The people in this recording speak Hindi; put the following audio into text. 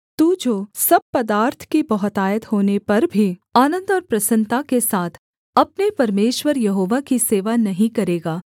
तू जो सब पदार्थ की बहुतायत होने पर भी आनन्द और प्रसन्नता के साथ अपने परमेश्वर यहोवा की सेवा नहीं करेगा